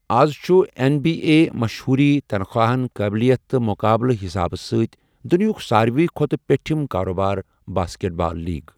از چھُ N B A مَشہوٗری، تنخواہَن، قٲبِلیت تہٕ مقابلہٕ حسابہٕ سۭتۍ دنیاہُک ساروِی کھوتہٕ پیٚٹِھم کارٕ بٲرۍ باسکٹ بال لیگ۔